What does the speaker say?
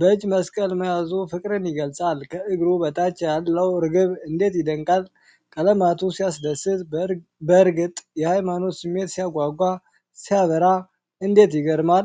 በእጁ መስቀል መያዙ ፍቅርን ይገልጻል! ከእግሩ በታች ያለው ርግብ እንዴት ይደነቃል! ቀለማቱ ሲያስደስት! በእርግጥ የሃይማኖት ስሜት ሲያጓጓ! ሲያበራ! እንዴት ይገርማል!